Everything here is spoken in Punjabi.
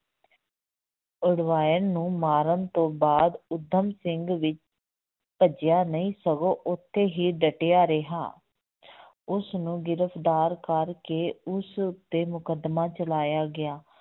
ਉਡਵਾਇਰ ਨੂੰ ਮਾਰਨ ਤੋਂ ਬਾਅਦ ਊਧਮ ਸਿੰਘ ਵੀ ਭੱਜਿਆ ਨਹੀਂ ਸਗੋਂ ਉੱਥੇ ਹੀ ਡਟਿਆ ਰਿਹਾ ਉਸਨੂੰ ਗ੍ਰਿਫ਼ਤਾਰ ਕਰਕੇ ਉਸ ਉੱਤੇ ਮੁਕੱਦਮਾ ਚਲਾਇਆ ਗਿਆ,